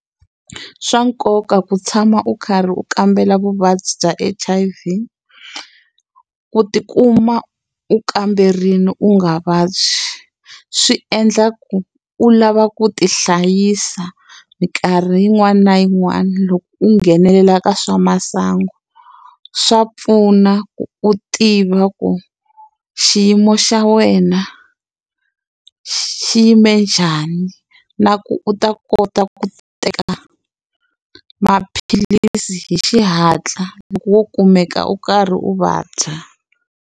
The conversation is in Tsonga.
I swa nkoka ku tshama u karhi u kambela vuvabyi bya H_I_V. Ku ti kuma u kamberile u nga vabyi, swi endla ku u lava ku ti hlayisa minkarhi yin'wana na yin'wana loko u nghenelela ka swa masangu. Swa pfuna ku u tiva ku xiyimo xa wena xi xi yime njhani, na ku u ta kota ku teka maphilisi hi xihatla loko wo kumeka u karhi u va dya.